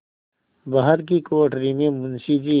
बाहर की कोठरी में मुंशी जी